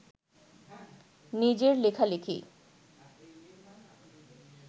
নিজের লেখালেখি